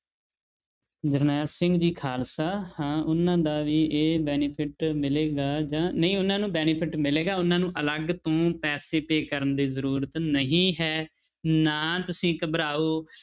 ਜਰਨੈਲ ਸਿੰਘ ਜੀ ਖਾਲਸਾ ਹਾਂ ਉਹਨਾਂ ਦਾ ਵੀ ਇਹ benefit ਮਿਲੇਗਾ ਜਾਂ ਨਹੀਂ ਉਹਨਾਂ ਨੂੰ benefit ਮਿਲੇਗਾ ਉਹਨਾਂ ਨੂੰ ਅਲੱਗ ਤੋਂ ਪੈਸੇ pay ਕਰਨ ਦੀ ਜ਼ਰੂਰਤ ਨਹੀਂ ਹੈ ਨਾ ਤੁਸੀਂ ਘਬਰਾਓ।